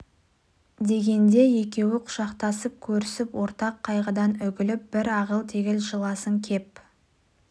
дегенде екеуі құшақтасып көрісіп ортақ қайғыдан үгіліп бір ағыл-тегіл жыласын кеп